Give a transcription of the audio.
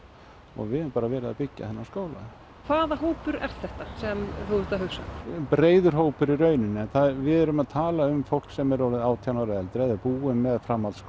og við höfum bara verið að byggja þennan skóla hvaða hópur er þetta sem þú ert að hugsa um breiður hópur í rauninni en við erum að tala um fólk sem er orðið átján ára og eldri búin með framhaldsskóla